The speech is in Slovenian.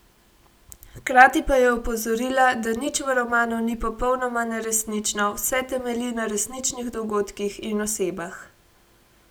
Hkrati pa je opozorila, da nič v romanu ni popolnoma neresnično, vse temelji na resničnih dogodkih in osebah.